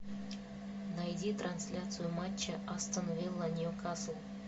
найди трансляцию матча астон вилла ньюкасл